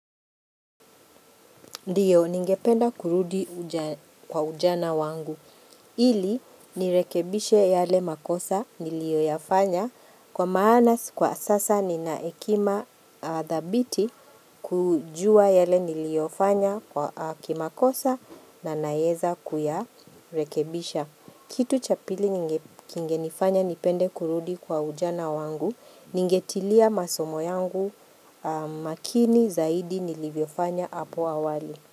Ndiyo, ningependa kurudi kwa ujana wangu. Ili, nirekebishe yale makosa nilioyafanya. Kwa maana, kwa sasa ninaekima thabiti kujua yale niliofanya kwa kimakosa na nayeza kuyarekebisha. Kitu chapili kingenifanya nipende kurudi kwa ujana wangu, ningetilia masomo yangu makini zaidi nilivyofanya apo awali.